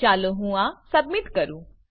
ચાલો હું આ સબમીટ કરું